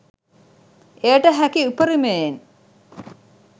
එයට හැකි උපරිමයෙන්